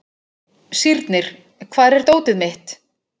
Sírnir, hvar er dótið mitt?